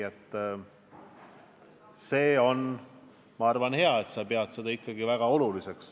See on, ma arvan, hea, et sa pead seda ikkagi väga oluliseks.